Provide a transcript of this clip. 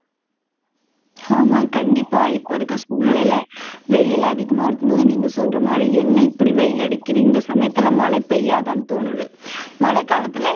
ஆமா கண்டிப்பா இப்ப இருக்கிற சூழ்நிலையில வெயில் அதிகமா இருக்கும் போது நீங்க சொல்ற மாதிரி என்ன இப்படி வெயில் அடிக்குது இந்த சமயத்தில மழை பெய்யாதான்னு தோணுது மழை காலத்துல